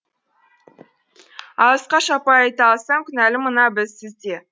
алысқа шаппай айта алсам кінәлі мына біз сіз де